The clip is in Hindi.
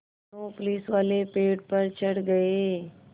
दोनों पुलिसवाले पेड़ पर चढ़ गए